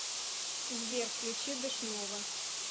сбер включи дэшнова